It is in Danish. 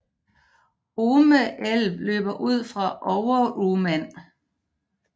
Ume älv løber ud fra Overuman